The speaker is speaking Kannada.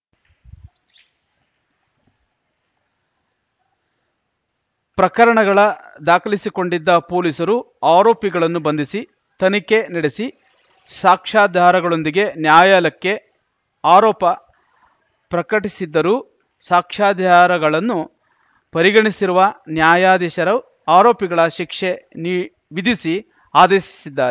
ಪ್ರಕರಣಗಳ ದಾಖಲಿಸಿಕೊಂಡಿದ್ದ ಪೊಲೀಸರು ಆರೋಪಿಗಳನ್ನು ಬಂಧಿಸಿ ತನಿಖೆ ನಡೆಸಿ ಸಾಕ್ಷಾಧಾರಗಳೊಂದಿಗೆ ನ್ಯಾಯಾಲಯಕ್ಕೆ ಆರೋಪ ಪ್ರಕಟಿಸಿದ್ದರೂ ಸಾಕ್ಷ್ಯಾಧಾರಗಳನ್ನು ಪರಿಗಣಿಸಿರುವ ನ್ಯಾಯಾಧೀಶರು ಆರೋಪಿಗಳ ಶಿಕ್ಷೆ ವಿಧಿಸಿ ಆದೇಶಿಸಿದ್ದಾ